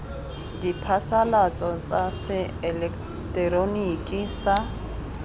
diphasalatso tsa se eleketeroniki sa